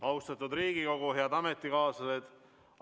Austatud Riigikogu, head ametikaaslased!